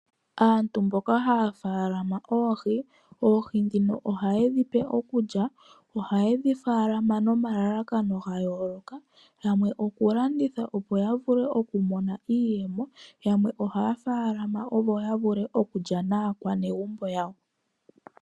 Aantu mboka haya munu oohi. Ohayedhi pe iikulya. Ohayedhi munu nomalalakano ga yooloka. Yamwe oku landitha opo ya vule oku mona iiyemo. Yamwe ohaya munu opo ya vule okulya naakwanegumbo yawo.